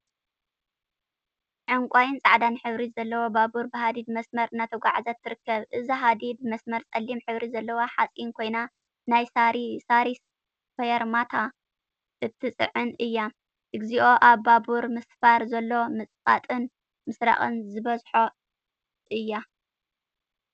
ዕንቋይን ፃዕዳን ሕብሪ ዘለዋ ባቡር ብሃዲድ መስመር እናተጓዓዘት ትርከበ፡፡ እዚ ሃዲድ መስመር ፀሊም ሕብሪ ዘለዎ ሓፂን ኮይኑ ናይ ሳሪስ ፈርማታ እትፅዕን እያ፡፡ እግዚኦ አብ ባቡር ምስፋር ዘሎ ምፅቃጥን ምስራቅን ዝበዝሖ እያ፡፡